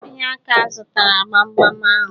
Ònyeka azutara gbam gbam ahụ